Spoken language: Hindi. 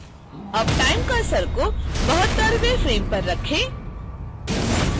अब time cursor को 72वें फ़्रेम पर रखें